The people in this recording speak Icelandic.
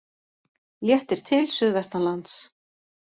Léttir til suðvestanlands